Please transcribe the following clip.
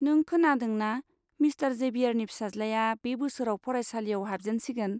नों खोनादों ना, मिस्टार जेबियारनि फिसाज्लाया बे बोसोराव फरायसालियाव हाबजेनसिगोन?